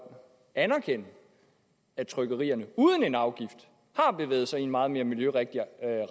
anerkende at trykkerierne uden en afgift har bevæget sig i en meget mere miljørigtig